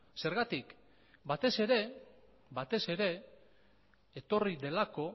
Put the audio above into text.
zergatik batez ere etorri delako